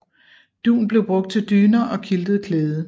Dun blev brugt til dyner og quiltet klæde